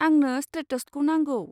आंनो स्ट्रेटस्टखौ नांगौ।